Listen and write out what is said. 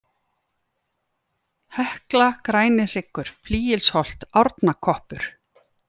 Hekla, Grænihryggur, Fylgilsholt, Árnakoppur